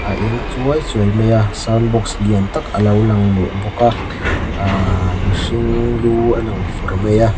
a eng chuai chuai mai a sound box lian tak a lo lang leh bawk a aaaa mihring lu a lang fur mai a.